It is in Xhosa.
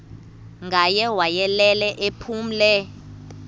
ngaye wayelele ephumle